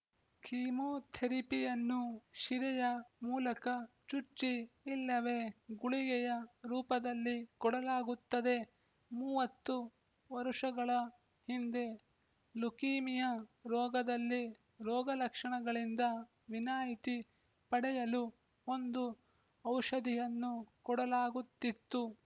ಕೀಮೋಥೆರಿಪಿಯನ್ನು ಶಿರೆಯ ಮೂಲಕ ಚುಚ್ಚಿ ಇಲ್ಲವೆ ಗುಳಿಗೆಯ ರೂಪದಲ್ಲಿ ಕೊಡಲಾಗುತ್ತದೆ ಮೂವತ್ತು ವರುಷಗಳ ಹಿಂದೆ ಲುಕೀಮಿಯ ರೋಗದಲ್ಲಿ ರೋಗಲಕ್ಷಣಗಳಿಂದ ವಿನಾಯಿತಿ ಪಡೆಯಲು ಒಂದು ಔಷಧಿಯನ್ನು ಕೊಡಲಾಗುತ್ತಿತ್ತು